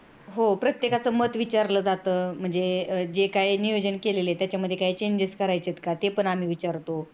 हो प्रत्येकच मत विचारलं जात म्हणजे जे काही नियोजन केली त्यात काही changes करायचेत का ते पण आम्ही विचारतो.